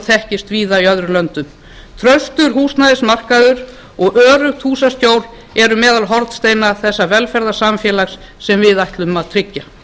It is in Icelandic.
þekkist víða í öðrum löndum traustur húsnæðismarkaður og öruggt húsaskjól eru meðal hornsteina þessa velferðarsamfélags sem við ætlum að tryggja